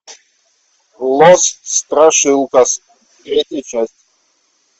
лос страшилкас третья часть